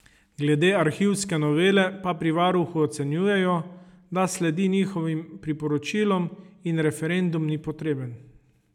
Glede arhivske novele pa pri varuhu ocenjujejo, da sledi njihovim priporočilom in referendum ni potreben.